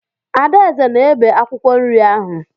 Adaeze na-ebe akwụkwọ nri ahụ.